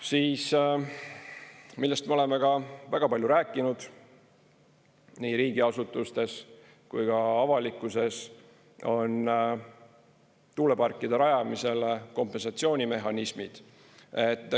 Siis, millest me oleme ka väga palju rääkinud nii riigiasutustes kui ka avalikkuses, on tuuleparkide rajamisel kompensatsioonimehhanismid.